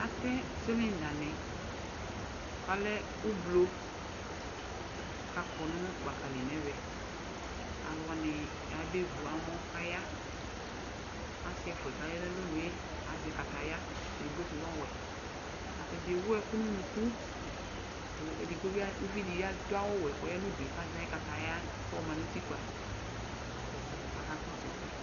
Atɛ silɛŋdani k'alɛ ʋblo k'akɔ nʋ gbakali n'ɛvɛ Alʋ wani aya be vu amɔ k'aya Asi ɛfuɛ k'aya n'alɔnue azɛ kataya; edigbo sʋ n'ɔwɛ Ata dzaa ewʋ ɛkʋ n'ʋnuku ku edigbo bi az, uvidi bi adʋ awʋ wɛ k'ɔya nʋ udue k'azɛ ayʋ kataya k'ɔxɔma n'utikpa k'ɔka kɔsʋ ɛsɛ